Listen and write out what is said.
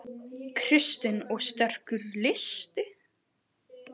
Kristinn: Og sterkur listi?